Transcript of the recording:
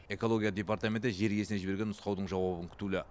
экология департаменті жер иесіне жіберген нұсқаудың жауабын күтулі